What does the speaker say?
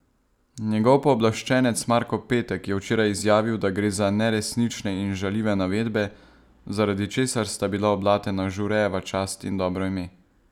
Njegov pooblaščenec Marko Petek je včeraj izjavil, da gre za neresnične in žaljive navedbe, zaradi česar sta bila oblatena Žurejeva čast in dobro ime.